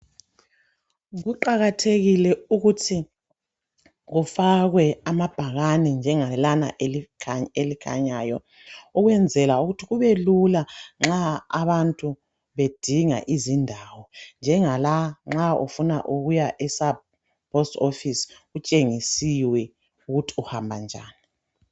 Kuqakathekile ukuthi kufakwe amabhakani njengelana elikhanyayo ukwenzela ukuthi kube Lula nxa abantu bedinga izindawo njengala nxa ufunaukiya epost office kutshengisiwe ukuthi uhamba njani